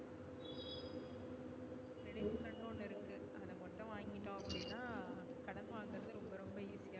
credit card ஒன்னு இருக்கு அத மட்டும் வாங்கிட்டோம் அப்டினா கடன் வாங்குறது ரொம்ப ரொம்ப easy யா